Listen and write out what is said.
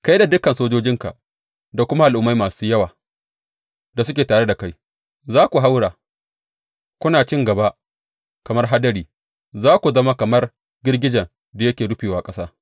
Kai da dukan sojojinka da kuma al’ummai masu yawa da suke tare da kai za ku haura, kuna cin gaba kamar hadari; za ku zama kamar girgijen da yake rufewa ƙasa.